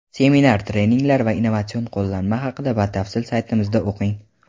Seminar-treninglar va innovatsion qo‘llanma haqida batafsil saytimizda o‘qing.